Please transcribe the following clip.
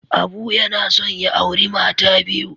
Abu yana son ya auri mata biyu.